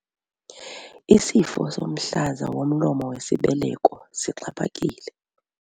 Isifo somhlaza womlomo wesibeleko sixhaphakile.